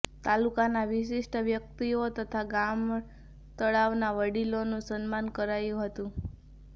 તાલુકાના વિશિષ્ટ વ્યકિતઓ તથા ગામતળાવના વડીલોનુ સન્માન કરાયું હતુ